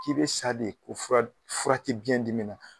K'i be sa de, ko fura te biɲɛ dimi na.